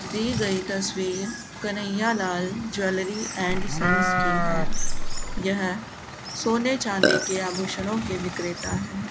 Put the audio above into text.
दी गई तस्वीर Kanhaiya Lal jewellery and sons की है यह सोने चांदी के आभूषणों के विक्रेता हैं।